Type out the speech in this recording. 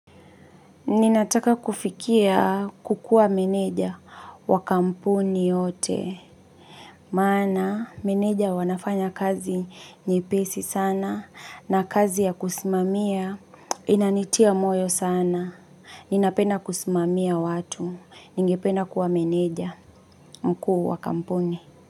Ninataka kufikia kukuwa meneja wa kampuni yote. Maana meneja wanafanya kazi nyepesi sana na kazi ya kusimamia inanitia moyo sana. Ninapena kusimamia watu. Ningependa kuwa meneja mkuu wa kampuni.